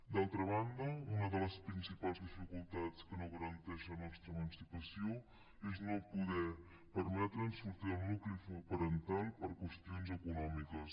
d’altra banda una de les principals dificultats que no garanteix la nostra emancipació és no poder permetre’ns sortir del nucli parental per qüestions econòmiques